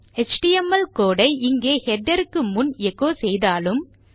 HTML code ஐ இங்கே header க்கு முன் எச்சோ செய்தாலும்